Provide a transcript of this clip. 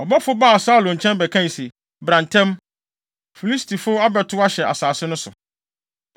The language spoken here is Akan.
ɔbɔfo baa Saulo nkyɛn bɛkae se, “Bra ntɛm! Filistifo abɛtow ahyɛ asase no so.”